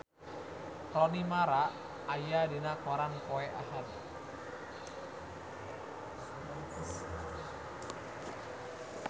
Rooney Mara aya dina koran poe Ahad